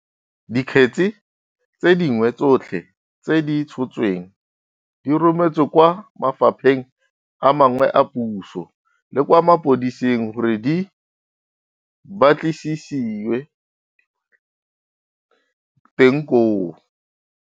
Dikgetse tse dingwe tsotlhe tse di tshotsweng di rometswe kwa mafapheng a mangwe a puso le kwa mapodising gore di ba tlisisiwe teng koo.